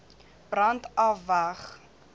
brand af weg